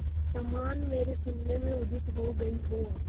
समान मेरे शून्य में उदित हो गई हो